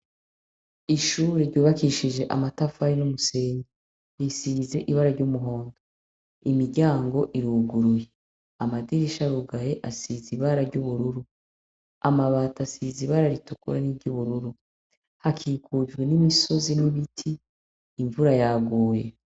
Ishuri ryubakishije amatafari n'umusenyi, isize ibara ry'umuhondo. Imiryango iruguruye, amadirisha arugaye, asizi ibara ry'ubururu. Amabati asiz ibara ritukura n'iryo ubururu. Hakikujwe n'imisozi n'ibiti imvura yaguye.